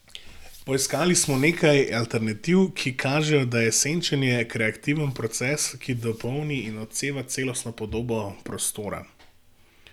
Poiskali smo nekaj alternativ, ki kažejo, da je senčenje kreativen proces, ki dopolni in odseva celostno podobo prostora.